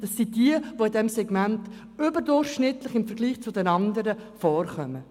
Das sind diejenigen, die in diesem Segment im Vergleich zu den anderen überdurchschnittlich vorkommen.